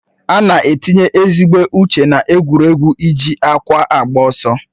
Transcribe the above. Ana etinye ezigbo uche na-egwuregwu iji ákwà agba ọsọ.